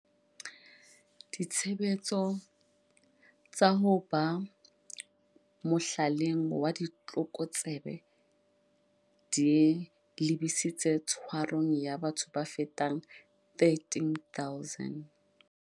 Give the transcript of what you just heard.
Ditshebetso tsa ho ba mohlaleng wa ditlokotsebe di lebisitse tshwarong ya batho ba fetang 13 000.